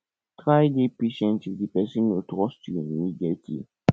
try dey patient if di person no trust you immediately